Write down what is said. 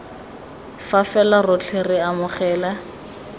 fa fela rotlhe re amogela